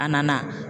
A nana